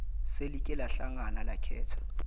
selike lahlangana lakhetha